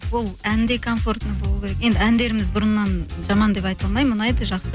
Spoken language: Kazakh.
ол ән де комфортный болу керек енді әндеріміз бұрыннан жаман деп айта ұнайды жақсы